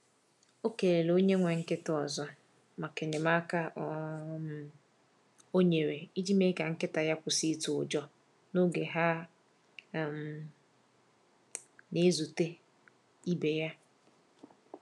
O kelele onye nwe nkịta ọzọ maka enyemaka o um nyere iji mee ka nkịta ya kwụsị itụ ụjọ n’oge ha um na-ezute um ibe ya.